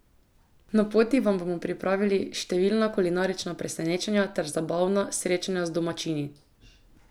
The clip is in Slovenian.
Na poti vam bomo pripravili številna kulinarična presenečenja ter zabavna srečanja z domačini!